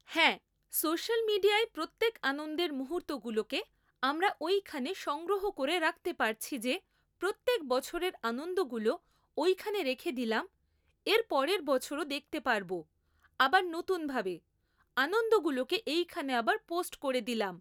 হ্যাঁ সোশ্যাল মিডিয়ায় প্রত্যেক আনন্দের মুহূর্তগুলোকে আমরা ওইখানে সংগ্রহ করে রাখতে পারছি যে প্রত্যেক বছরের আনন্দগুলো ওইখানে রেখে দিলাম এরপরের বছরও দেখতে পারবো, আবার নতুনভাবে, আনন্দগুলোকে এইখানে আবার পোস্ট করে দিলাম